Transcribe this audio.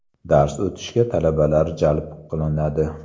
Dars o‘tishga talabalar jalb qilinadi.